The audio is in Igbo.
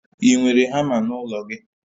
I nwere hama n'ụlọ gi?